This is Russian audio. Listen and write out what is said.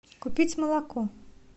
купить молоко